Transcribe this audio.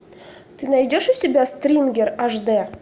ты найдешь у себя стрингер аш дэ